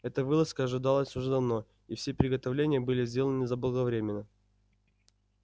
эта вылазка ожидалась уже давно и все приготовления были сделаны заблаговременно